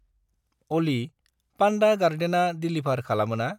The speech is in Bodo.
अलि, पानदा गार्डेना देलिभार खालामोना?